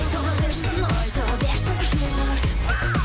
айта берсін айта берсін жұрт